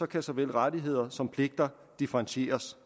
kan såvel rettigheder som pligter differentieres